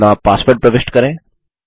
अपना पासवर्ड प्रविष्ट करें